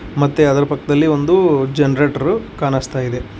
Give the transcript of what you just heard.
ಮತ್ತೆ ಅದ್ರು ಪಕ್ಕದಲ್ಲಿ ಒಂದು ಜನರೇಟರ್ ಕಾಣಿಸ್ತಾ ಇದೆ.